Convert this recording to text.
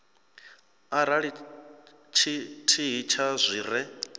arali tshithihi tsha zwi re